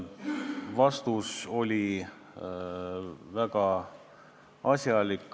Vastus oli väga asjalik.